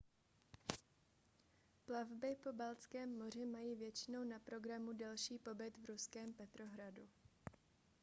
plavby po baltském moři mají většinou na programu delší pobyt v ruském petrohradu